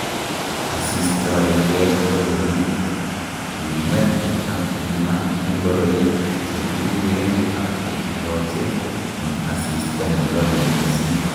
asistoengei kololik:imwet ak imaa ingoroik chekiruwen ak chekiloche en asista nelole missing